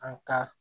An ka